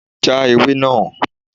Já ewé náà!